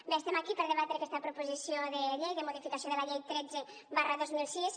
bé estem aquí per debatre aquesta proposició de llei de modificació de la llei tretze dos mil sis